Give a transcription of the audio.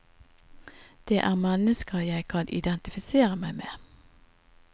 Det er mennesker jeg kan identifisere meg med.